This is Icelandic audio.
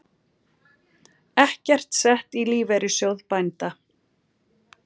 Ekkert sett í Lífeyrissjóð bænda